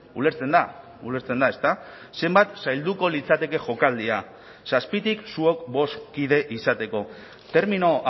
ulertzen da ulertzen da ezta zenbat zailduko litzateke jokaldia zazpitik zuok bost kide izateko termino